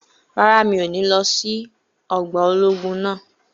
Rárá, mi ò ní lọ sí ọgbà ológun náà